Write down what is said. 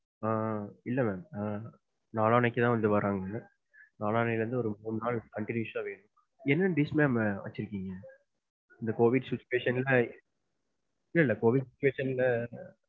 ஆஹ் இல்ல mam நாளானைக்கு தான் வராங்க. நாளான்னைல இருந்து ஒரு மூணு நாள் contionous ஆ வேணும். என்ன dish mam வச்சிருக்கீங்க? இந்த COVID situation ல இல்ல, இல்ல COVID situation.